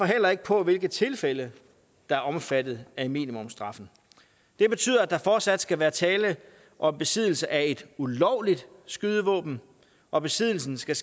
heller ikke på hvilke tilfælde der er omfattet af minimumsstraffen det betyder at der fortsat skal være tale om besiddelse af et ulovligt skydevåben og besiddelsen skal